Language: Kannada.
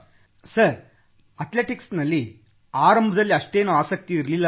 ಸರ್ ಅಥ್ಲೆಟಿಕ್ಸ್ ನಲ್ಲಿ ಆರಂಭದಲ್ಲಿ ಅಷ್ಟೇನೂ ಆಸಕ್ತಿ ಇರಲಿಲ್ಲ